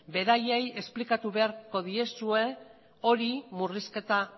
beraiei esplikatu beharko diezue hori murrizketa